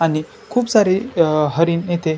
आणि खुप सारी अ हरीण येथे --